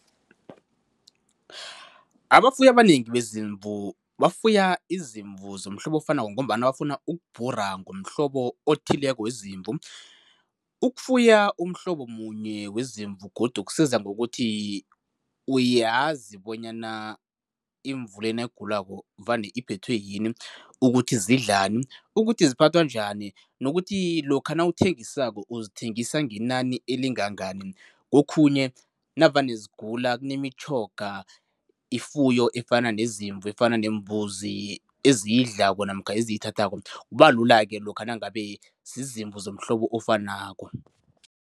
Abafuyi abanengi bezimvu bafuya izimvu zomhlobo ofanako ngombana bafuna ukubhura ngomhlobo othileko wezimvu. Ukufuya umhlobo munye wezimvu godu kusiza ngokuthi uyazi bonyana imvu le nayigulako vane iphethwe yini, ukuthi zidlalani, ukuthi ziphathwa njani nokuthi lokha nawuthengisako, uzithengisa ngenani elingangani. Kokhunye navane zigula kunemitjhoga ifuyo efana nezimvu, efana nembuzi eziyidlako namkha eziyithathako, kubalula lokha nangabe zizimvu zomhlobo ofanako.